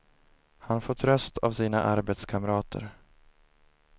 Han får tröst av sina arbetskamrater.